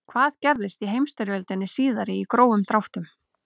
hvað gerðist í heimsstyrjöldinni síðari í grófum dráttum